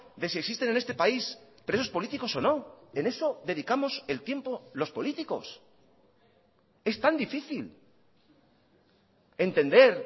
de si existen en este país presos políticos o no en eso dedicamos el tiempo los políticos es tan difícil entender